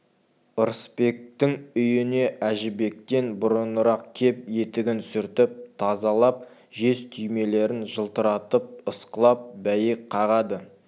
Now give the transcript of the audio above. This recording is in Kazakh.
ырысбектің үйіне әжібектен бұрынырақ кеп етігін сүртіп тазалап жез түймелерін жылтыратып ысқылап бәйек қағады